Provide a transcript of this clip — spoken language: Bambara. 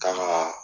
Kan ga